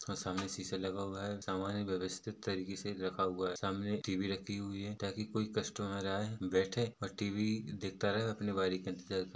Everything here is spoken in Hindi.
और सामने सीसा लगा हुआ है सामान व्यवस्थित तरीके से रखा हुआ है सामने टीवी रखी हुई है। ताकि कोई कस्टमर आए बैठे और टीवी देखता रहे और अपनी बारी का इंतजार कर--